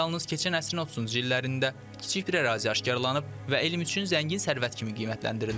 Yalnız keçən əsrin 30-cu illərində kiçik bir ərazi aşkarlanıb və elm üçün zəngin sərvət kimi qiymətləndirilib.